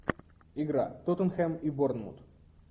игра тоттенхэм и борнмут